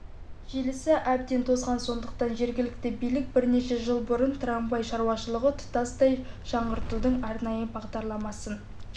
желісі әбден тозған сондықтан жергілікті билік бірнеше жыл бұрын трамвай шаруашылығы тұтастай жаңғыртудың арнайы бағдарламасын